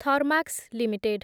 Thermax limited